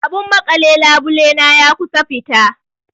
Abun maƙale labule na ya kusan fita.